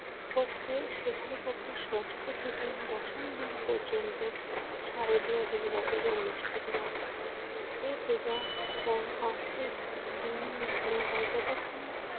পক্ষে শুক্লপক্ষের ষষ্ঠ থেকে দশম দিন পর্যন্ত শারদীয় দুর্গাপূজা অনুষ্ঠিত হয়। এ পূজা পা~ পাঁচ দিন ধরে হয়। যতক্ষণ